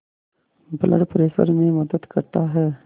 blood pressure में मदद करता है